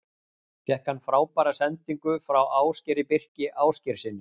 Fékk hann frábæra sendingu frá Ásgeiri Birki Ásgeirssyni.